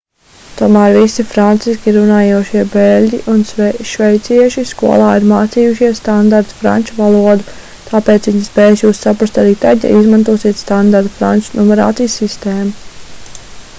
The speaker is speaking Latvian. tomēr visi franciski runājošie beļģi un šveicieši skolā ir mācījušies standarta franču valodu tāpēc viņi spēs jūs saprast arī tad ja izmantosiet standarta franču numerācijas sistēmu